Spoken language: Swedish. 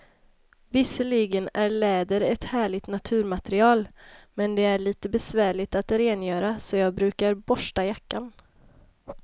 Visserligen är läder ett härligt naturmaterial, men det är lite besvärligt att rengöra, så jag brukar borsta jackan.